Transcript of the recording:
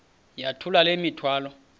yithula le mithwalo